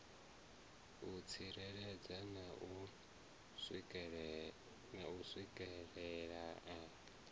u tsireledzea na u swikelelea